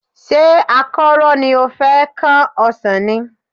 Ṣé àkọ́rọ́ ni o fẹ́ kán ọsàn ni?